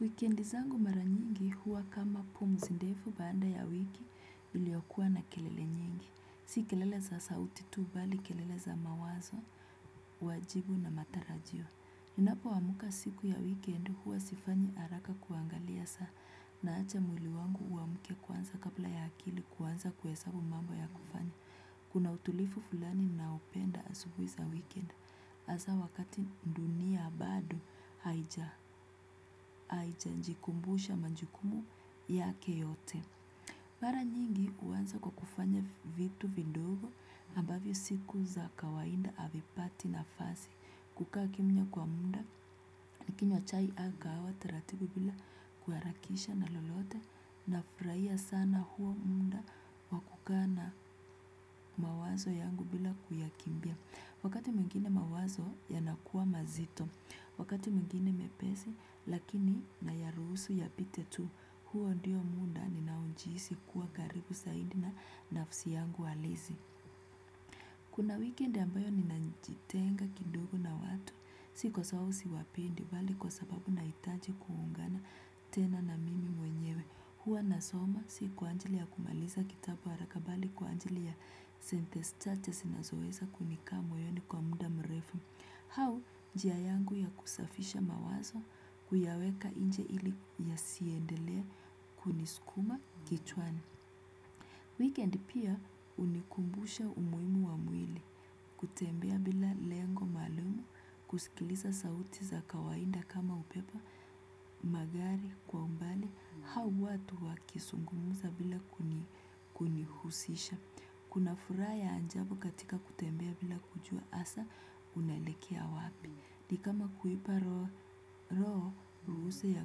Wikendi zangu mara nyingi huwa kama pumzi ndefu baada ya wiki iliyokuwa na kelele nyingi. Si kelele za sauti tu bali kelele za mawazo, wajibu na matarajio. Ninapoamka siku ya weekend huwa sifanyi haraka kuangalia saa, naacha mwili wangu uamke kwanza kabla ya akili kuanza kuhesabu mambo ya kufanya. Kuna utulivu fulani ninaopenda asubuhi za weekend. Hasa wakati dunia bado haijajikumbusha majukumu yake yote. Mara nyingi huanza kwa kufanya vitu vidogo ambavyo siku za kawaida havipati nafasi. Kukaa kimya kwa muda nikinywa chai au kahawa taratibu bila kuharakisha na lolote nafurahia sana huo muda wa kukaa na mawazo yangu bila kuyakimbia. Wakati mwingine mawazo yanakua mazito, wakati mwingine mepesi lakini nayaruhusu yapite tu. Huo ndio muda ninaojihisi kuwa karibu zaidi na nafsi yangu halisi. Kuna weekend ambayo ninajitenga kidogo na watu, si kwa sababu siwapendi bali kwa sababu nahitaji kuungana tena na mimi mwenyewe. Huwa nasoma, si kwa ajili ya kumaliza kitabu haraka bali kwa ajili ya sentensi chache zinazoweza kunikaq moyoni kwa muda mrefu. Au njia yangu ya kusafisha mawazo, kuyaweka nje ili yasiendelee kunisukuma kichwani. Weekend pia hunikumbusha umuhimu wa mwili, kutembea bila lengo maalumu, kusikiliza sauti za kawaida kama upepo, magari kwa umbali, au watu wakizungumza bila kunihusisha. Kuna furaha ya ajabu katika kutembea bila kujua hasa, unaelekea wapi. Ni kama kuipa roho, ruhusa ya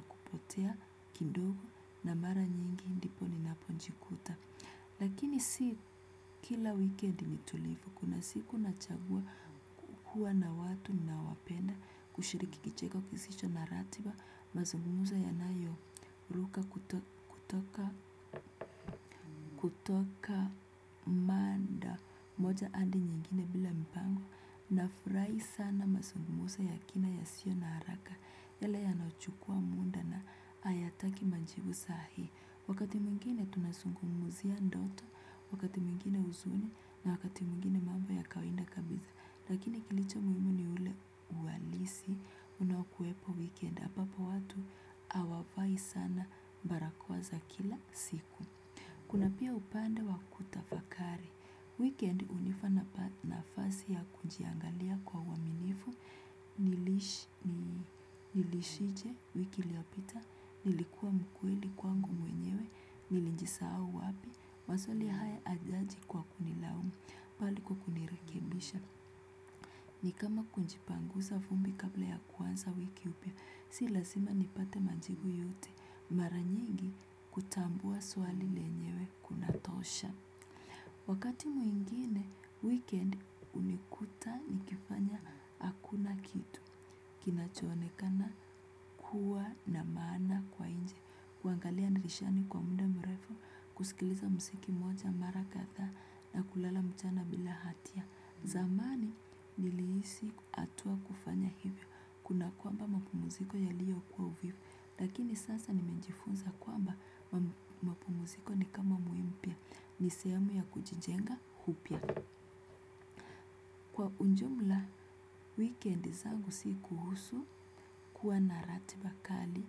kupotea, kidogo na mara nyingi ndipo ninapojikuta. Lakini si kila weekend ni tulivu. Kuna siku nachagua kuwa na watu ninaowapenda, kushiriki kicheko kisicho na ratiba, mazungumzo yanayoruka kutoka mada moja hadi nyingine bila mpango. Nafurahi sana mazungumzo ya kina yasio na haraka. Yale yanaochukua muda na hayataki majibu saa hii. Wakati mwingine tunazungumzia ndoto, wakati mwingine huzuni na wakati mwingine mambo ya kawaida kabisa. Lakini kilicho muhimu ni ule uhalisi unaokuwepo weekend. Ambapo watu hawavai sana barakoa za kila siku. Kuna pia upande wa kutafakari. Weekend hunipa nafasi ya kujiangalia kwa uaminifu, niliishije, wiki iliyopita, nilikuwa mkweli kwangu mwenyewe, nilijisahau wapi, maswali haya hayaji kwa kunilaumu, bali kwa kunirekebisha. Ni kama kujipanguza vumbi kabla ya kuanza wiki mpya, si lazima nipate majibu yote, mara nyingi kutambua swali lenyewe kunatosha. Ti mwingine weekend hunikuta nikifanya hakuna kitu kinachoonekana kuwa na maana kwa nje. Kuangalia dirishani kwa muda mrefu, kusikiliza muziki mmoja mara kadhaa na kulala mchana bila hatia. Zamani nilihisi hatua kufanya hivyo kuna kwamba mapumziko yaliyo kwa uvivu. Lakini sasa nimejifunza kwamba mapumziko ni kama muhimu pia. Ni sehemu ya kujijenga upya. Kwa ujumla weekend nzagu si kuhusu kuwa na ratiba kali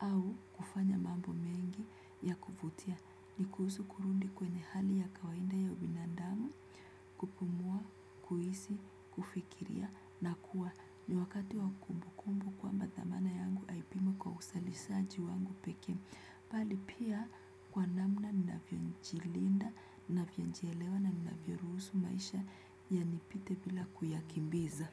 au kufanya mambo mengi ya kuvutia. Ni kuhusu kurudi kwenye hali ya kawaida ya ubinadamu, kupumua, kuhisi, kufikiria na kuwa. Kati wa kumbukumbu kwamba dhamana yangu haipimwi kwa uzalishaji wangu pekee. Bali pia kwa namna ninavyojilinda, ninavyojielewa na ninavyoruhusu maisha yanipite bila kuyakimbiza.